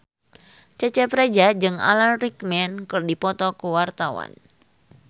Cecep Reza jeung Alan Rickman keur dipoto ku wartawan